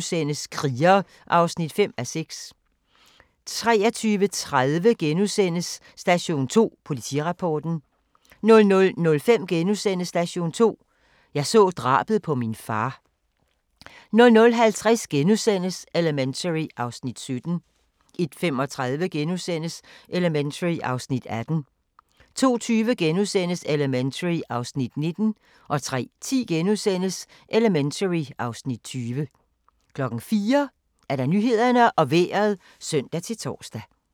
22:35: Kriger (5:6)* 23:30: Station 2: Politirapporten * 00:05: Station 2: Jeg så drabet på min far * 00:50: Elementary (Afs. 17)* 01:35: Elementary (Afs. 18)* 02:20: Elementary (Afs. 19)* 03:10: Elementary (Afs. 20)* 04:00: Nyhederne og Vejret (søn-tor)